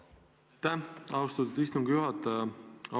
Aitäh, austatud istungi juhataja!